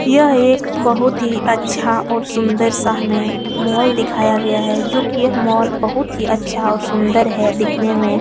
यह एक बहुत ही अच्छा और सुंदर सा हमें मॉल दिखाया गया है जो कि यह मॉल बहुत ही अच्छा और सुंदर है दिखने में।